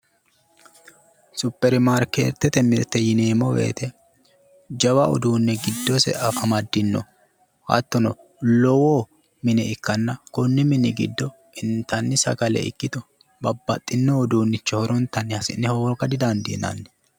Supperimarkeetete uduunne yineemmo woyite jawa uduunne giddose amaddino. Hattono lowo mine ikkanna konni mini giddo intanni sagale ikkito babbaxxino uduunnicho hasi'ne horonta hooga didandiinanni.